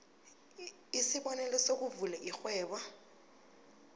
isibonelo sokuvula irhwebo